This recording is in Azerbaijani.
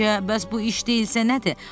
Səncə, bəs bu iş deyilsə nədir?